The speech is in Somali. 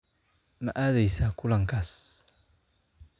Ma aadaysaa kulankaas?